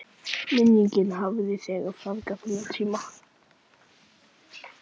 Minningin hafði þegar fegrað þennan tíma.